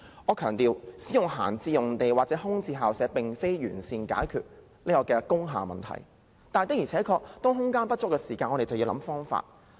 我須強調，使用閒置用地或空置校舍並不能完善解決工廈問題，但當空間不足時，我們便要想盡方法。